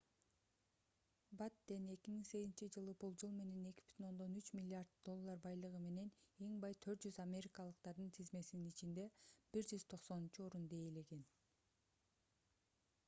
баттен 2008-жылы болжол менен 2,3 миллиард доллар байлыгы менен эң бай 400 америкалыктардын тизмесинин ичинде 190-орунду ээлеген